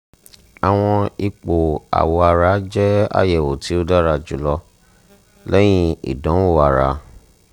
awọn ipo awọ ara jẹ ayẹwo ti o dara julọ lẹyin idanwo ara